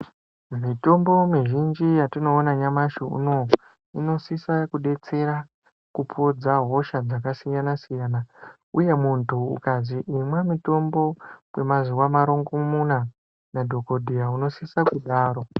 Mutombo muzhinji yatinoona nyamashi unou unosisa kudetsera kupodza hosha dzakasiyana siyana uye mundu ukazwi imwa mutombo kwemazuwa marongomuna nadhokodheya unosisa kudaro.